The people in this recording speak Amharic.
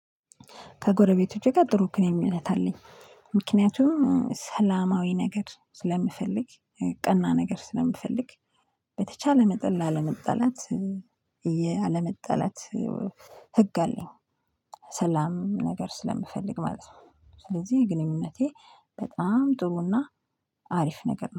ከጎረቤቶቼ ጋር ጥሩ ግንኙነት አለኝ። ምክንያቱም ሰላማዊ ነገር ስለምፈልግ ቀና ነገር ስለምፈልግ በተቻለ መጠን ላለመጠላት። እየ አለመጠላት ህግ አለኝ። ሰላም ነገር ስለምፈልግ ማለት ነው። ስለዚህ ግንኙነቴ በጣም ጥሩና አሪፍ ነገር ነው